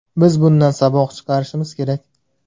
Biz bundan saboq chiqarishimiz kerak.